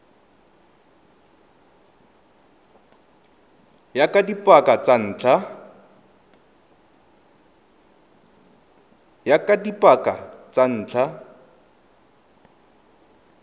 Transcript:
ya ka dipaka tsa ntlha